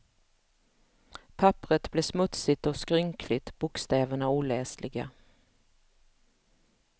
Papperet blir smutsigt och skrynkligt, bokstäverna oläsliga.